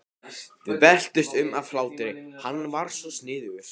Við veltumst um af hlátri, hann var svo sniðugur.